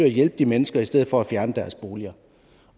at hjælpe de mennesker i stedet for at fjerne deres boliger